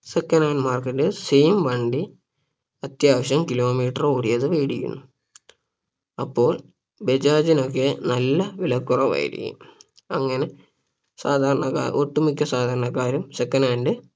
second hand market ൽ same വണ്ടി അത്യാവശ്യം kilometer ഓടിയത് വേടിക്കുന്നു അപ്പോൾ ബജാജിനൊക്കെ നല്ല വില കുറവായിരിക്കും അങ്ങനെ സാധാരണക്കാർ ഒട്ടുമിക്ക സാധാരണക്കാരും second hand